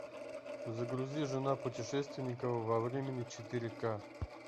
загрузи жена путешественника во времени четыре ка